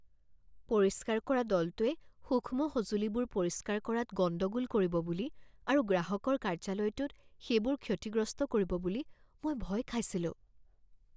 পৰিষ্কাৰ কৰা দলটোৱে সূক্ষ্ম সঁজুলিবোৰ পৰিষ্কাৰ কৰাত গণ্ডগোল কৰিব বুলি আৰু গ্ৰাহকৰ কাৰ্যালয়টোত সেইবোৰ ক্ষতিগ্ৰস্ত কৰিব বুলি মই ভয় খাইছিলোঁ।